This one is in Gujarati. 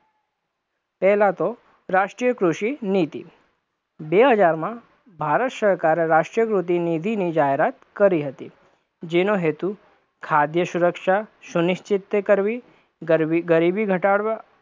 પહેલા તો, રાષ્ટ્રીય કૃષિ નીતિ બે હજારમાં ભારત સરકારે રાષ્ટ્રીય કૃષિ નીતિની જાહેરાત કરી હતી, જેનો હેતુ ખાદ્ય સુરક્ષા સુનિક્ષિત કરવી, ગરીબી ઘટાડવા